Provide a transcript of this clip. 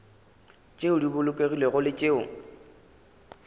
tšeo di bolokegilego le tšeo